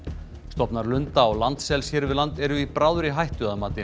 stofnar lunda og landsels hér við land eru í bráðri hættu að mati